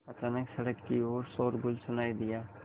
अचानक सड़क की ओर शोरगुल सुनाई दिया